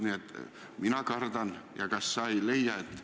Nii et mina kardan – kas sina seda ei leia?